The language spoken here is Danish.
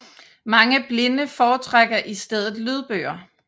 Mange blinde foretrækker i stedet lydbøger